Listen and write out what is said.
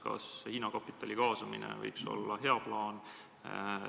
Kas Hiina kapitali kaasamine võiks olla hea plaan?